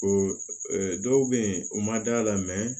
Ko dɔw bɛ yen u ma d'a la